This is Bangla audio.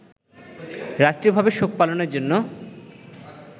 রাষ্ট্রীয়ভাবে শোক পালনের জন্য